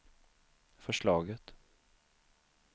förslaget